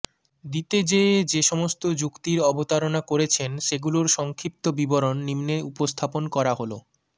দিতে যেয়ে যে সমস্ত যুক্তির অবতারণা করেছেন সেগুলোর সংক্ষিপ্ত বিবরণ নিম্নে উপস্থাপন করা হল ঃ